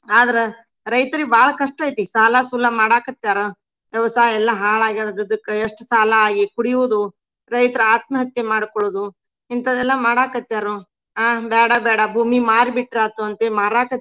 ಆದ್ರ ರೈತ್ರಿಗೆ ಬಾಳ ಕಷ್ಟ ಐತಿ. ಸಾಲಾ ಸೂಲಾ ಮಾಡಾ ಕತ್ಯಾರ ವ್ಯವಸಾಯ ಎಲ್ಲಾ ಹಾಳ್ ಆಗಿ ಹೋಗಿದಕ್ಕ ಎಷ್ಟ್ ಸಾಲಾ ಆಗಿ. ಕುಡಿಯುವುದು ರೈತ್ರ ಆತ್ಮಹತ್ಯೆ ಮಾಡ್ಕೊಳ್ಳೊದು ಇಂತದೆಲ್ಲಾ ಮಾಡಾಕ್ ಹತ್ಯಾರು. ಅಹ್ ಬ್ಯಾಡ ಬ್ಯಾಡ ಭೂಮಿ ಮಾರಿ ಬಿಟ್ರ ಆತು ಅಂತ ಹೇಳಿ ಮಾರಾಕತ್ಯಾರು.